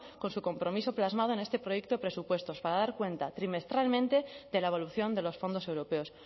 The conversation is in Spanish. con su compromiso plasmado en este proyecto de presupuestos para dar cuenta trimestralmente de la evolución de los fondos europeos